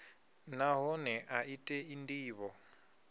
nahone a i tei ndivho